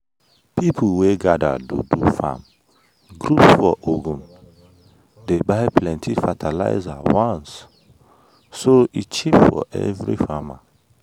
people wey gather to do farm group for ogun dey buy plenty fertilizer once so e cheap for every farmer.